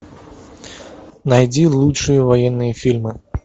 найди лучшие военные фильмы